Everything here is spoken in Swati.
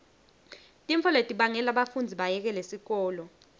tintfo letibangela bafundzi bayekele sikolo